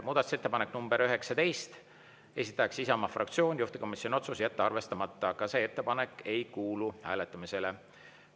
Muudatusettepanek nr 19, esitaja Isamaa fraktsioon, juhtivkomisjoni otsus: jätta arvestamata, ka see ettepanek ei kuulu hääletamisele.